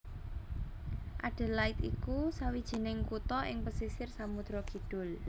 Adelaide iku sawijining kutha ing pesisir Samudra Kidul